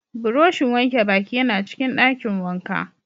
Buroshin wanke baki yana cikin dakin wanka.